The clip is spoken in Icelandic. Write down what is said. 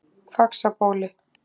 Faxabóli